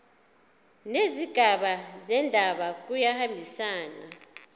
nezigaba zendaba kuyahambisana